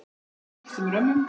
um gylltum römmum.